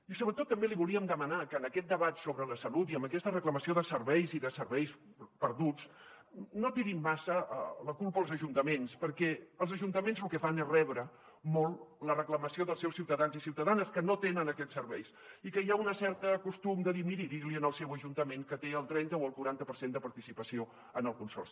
i sobretot també li volíem demanar que en aquest debat sobre la salut i amb aquesta reclamació de serveis i de serveis perduts no tirin massa la culpa als ajuntaments perquè els ajuntaments lo que fan és rebre molt la reclamació dels seus ciutadans i ciutadanes que no tenen aquests serveis i que hi ha un cert costum de dir miri digui li al seu ajuntament que té el trenta o el quaranta per cent de participació en el consorci